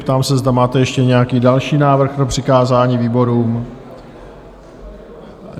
Ptám se, zda máte ještě nějaký další návrh na přikázání výborům?